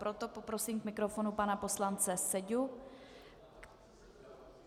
Proto poprosím k mikrofonu pana poslance Seďu.